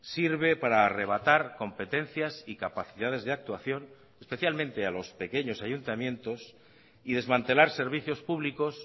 sirve para arrebatar competencias y capacidades de actuación especialmente a los pequeños ayuntamientos y desmantelar servicios públicos